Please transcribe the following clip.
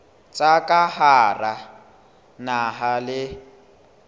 tsa ka hara naha le